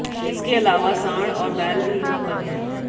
इसके अलावा सांड व बैल भी यहां पर हैं